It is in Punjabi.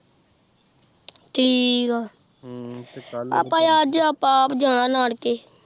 ਠੀਕ ਆ ਆਪ ਅਜੇ ਆਪ ਅਪਜਾਣਾ ਨਾਨਕੇ